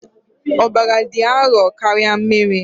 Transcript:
Ọbara dị arọ karịa mmiri.